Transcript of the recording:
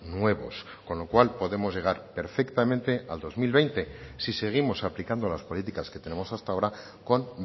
nuevos con lo cual podemos llegar perfectamente al dos mil veinte si seguimos aplicando las políticas que tenemos hasta ahora con